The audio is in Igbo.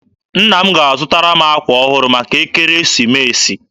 Nna m ga-azụtara m akwa ọhụrụ maka Ekeresimeesi.